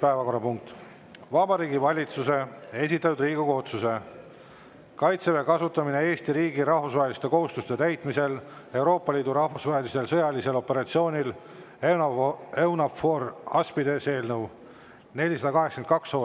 Päevakorrapunkt nr 14: Vabariigi Valitsuse esitatud Riigikogu otsuse "Kaitseväe kasutamine Eesti riigi rahvusvaheliste kohustuste täitmisel Euroopa Liidu rahvusvahelisel sõjalisel operatsioonil EUNAVFOR Aspides" eelnõu 482,